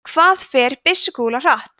hvað fer byssukúla hratt